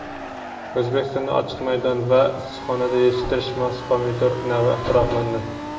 O‘zbekistonda ochiq maydon va issiqxonada yetishtirishga mos pomidor navi ixtiro qilindi.